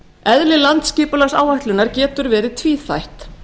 eðli landsskipulagsáætlunar getur verið tvíþætt